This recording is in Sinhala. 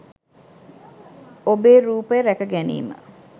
ඔබේ රූපය රැකගැනීම